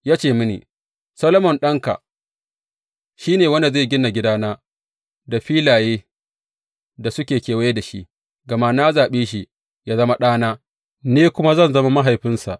Ya ce mini, Solomon ɗanka shi ne wanda zai gina gidana da filayen da suke kewaye da shi, gama na zaɓe shi yă zama ɗana, ni kuma zan zama mahaifinsa.